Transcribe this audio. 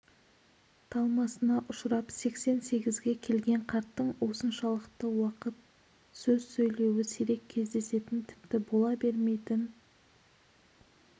талмасына ұшырап сексен сегізге келген қарттың осыншалықты уақыт сөз сөйлеуі сирек кездесетін тіпті бола бермейтін